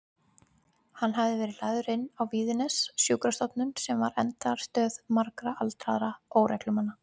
Hann hafði verið lagður inn á Víðines, sjúkrastofnun sem var endastöð margra aldraðra óreglumanna.